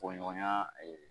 Koɲɔgɔnya